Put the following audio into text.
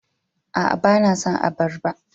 Aa, ba na son abarba.